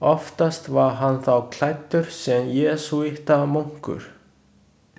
Oftast var hann þá klæddur sem jesúítamunkur.